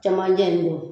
Camancɛ in don